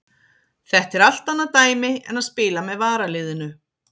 Þetta er allt annað dæmi en að spila með varaliðinu.